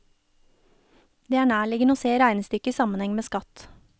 Det er nærliggende å se regnestykket i sammenheng med skatt.